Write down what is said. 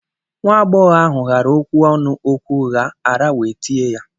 Nwa-ab͕ọghọ ahu ghara okwu-ọnu okwu-ugha, ara we tie ya.